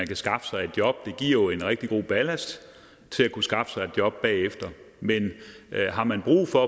kan skaffe sig et job det giver jo en rigtig god ballast til at kunne skaffe sig et job bagefter men har man brug for